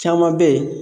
Caman bɛ yen